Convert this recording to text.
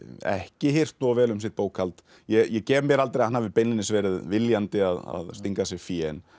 ekki hirt of vel um sitt bókhald ég gef mér aldrei að hann hafi beinlínis verið viljandi að stinga að sér fé en